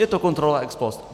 Je to kontrola ex post.